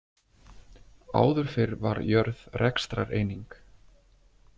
Áður fyrr var jörð rekstrareining.